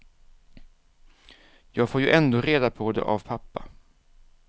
Jag får ju ändå reda på det av pappa.